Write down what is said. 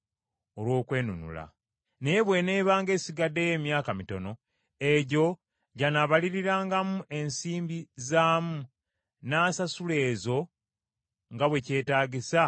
Naye bw’eneebanga esigaddeyo emyaka mitono, egyo gy’anaabalirirangamu ensimbi zaamu n’asasula ezo nga bwe kyetaagisa olw’okwenunula.